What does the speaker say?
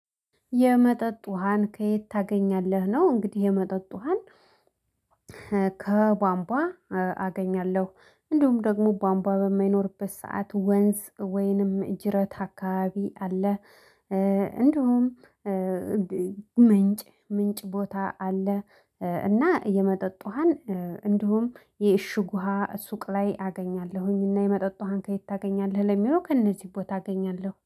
የመጠጥ ውሃን ከየት ታገኛለህ ነው? እንግዲህ የመጠጥ ውሃን ከቧንቧ አገኛለሁ እንዲሁም ደግሞ ቧንቧ በማይኖርበት ሰዓት ወንዝ ወይንም ጅረት አካባቢ አለ። እንድሁም ምንጭ ምንጭ ቦታ አለ። እና የመጠጥ ውሃን እንዲሁም የእሽግ ውሃ ሱቅ ላይ አገኛለሁኝ። እና የመጠጥ ውሃን ከየት ታገኛለህ? ለሚለው ከእነዚህ ቦታ አገኛለሁ